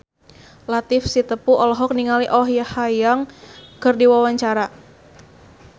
Latief Sitepu olohok ningali Oh Ha Young keur diwawancara